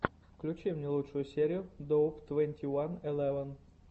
включи лучшую серию доуп твенти ван элеван